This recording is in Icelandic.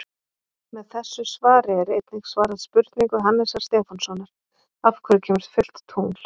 Með þessu svari er einnig svarað spurningu Hannesar Stefánssonar: Af hverju kemur fullt tungl?